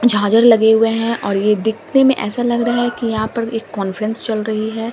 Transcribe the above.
झांजर लगे हुए हैं और ये दिखने में ऐसा लग रहा है कि यहां पर एक कांफ्रेंस चल रही है।